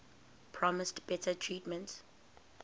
promised better treatment